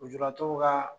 Lujuratɔw ka